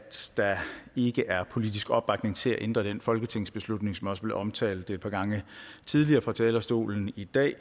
der ikke er politisk opbakning til at ændre den folketingsbeslutning som også omtalt et par gange tidligere fra talerstolen i dag